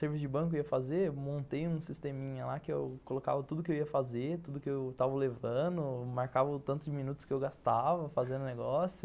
Serviço de banco eu ia fazer, montei um sisteminha lá que eu colocava tudo que eu ia fazer, tudo que eu estava levando, marcava o tanto de minutos que eu gastava fazendo o negócio.